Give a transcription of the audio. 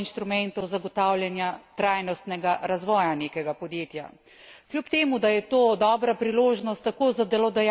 Hkrati pa je to tudi eden izmed načinov oziroma instrumentov zagotavljanja trajnostnega razvoja nekega podjetja.